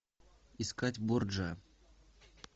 искать борджиа